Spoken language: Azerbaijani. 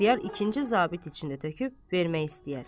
İxtiyar ikinci zabit içində töküb vermək istəyər.